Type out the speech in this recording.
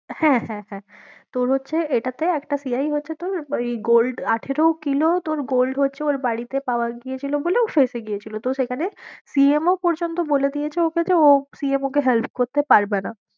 হ্যাঁ, হ্যাঁ, হ্যাঁ তোর হচ্ছে এটাতে একটা CI হচ্ছে তোর ওই gold আঠেরো কিলো তোর gold হচ্ছে ওর বাড়িতে পাওয়া গিয়েছিলো বলে ও ফেঁসে গিয়েছিলো, তো সেখানে CM ও পর্যন্ত বলে দিয়েছে ওকে যে ও CM ওকে help করতে পারবে না।